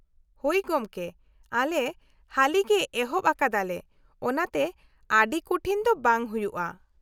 -ᱦᱳᱭ ᱜᱚᱢᱠᱮ, ᱟᱞᱮ ᱦᱟᱹᱞᱤᱜᱮ ᱮᱦᱚᱵ ᱟᱠᱟᱫᱟᱞᱮ ᱚᱱᱟᱛᱮ ᱟᱹᱰᱤ ᱠᱩᱴᱷᱤᱱ ᱫᱚ ᱵᱟᱝ ᱦᱩᱭᱩᱜᱼᱟ ᱾